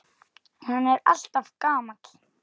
En hann er alltaf gamall.